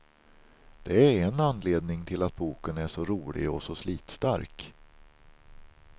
Det är en anledning till att boken är så rolig och så slitstark.